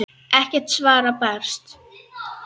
Ekkert svar barst.